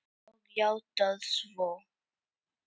Og játað svo.